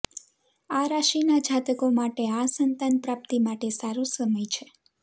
આ રાશિના જાતકો માટે આ સંતાન પ્રાપ્તિ માટે સારો સમય છે